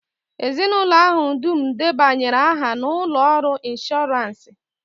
Ezinụlọ ahụ dum debanyere aha na ụlọ ọrụ ịnshọransị